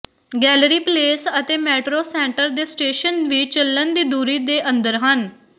gallery place ਅਤੇ metro centre ਦੇ station ਵੀ ਚੱਲਣ ਦੀ ਦੂਰੀ ਦੇ ਅੰਦਰ ਹਨ